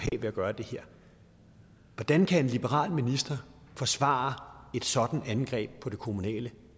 ved at gøre det her hvordan kan en liberal minister forsvare et sådant angreb på det kommunale